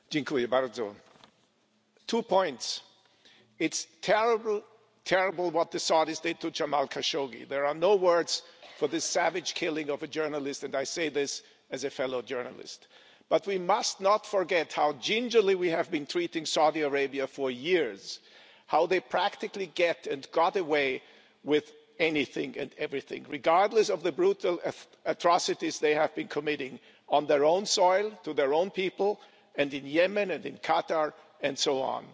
Mr President, I have two points to make. It's terrible what the Saudis did to Jamal Khashoggi. There are no words for this savage killing of a journalist and I say this as a fellow journalist. But we must not forget how gingerly we have been treating Saudi Arabia for years, and how they practically get and got away with anything and everything, regardless of the brutal atrocities they have been committing on their own soil, to their own people, and in Yemen and Qatar, and so on.